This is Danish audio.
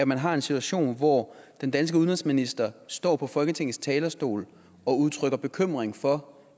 man har en situation hvor den danske udenrigsminister står på folketingets talerstol og udtrykker bekymring for